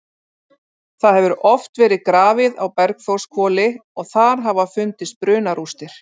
Það hefur oft verið grafið á Bergþórshvoli og þar hafa fundist brunarústir.